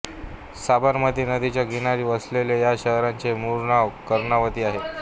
साबरमती नदीच्या किनारी वसलेल्या या शहराचे मूळ नाव कर्णावती आहे